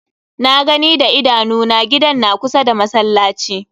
Na gani da idanu na, gidan na kusa da masallaci.